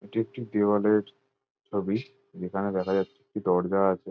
এটি একটি দেওয়ালের ছবি। যেখানে দেখা যাচ্ছে একটি দরজা আছে।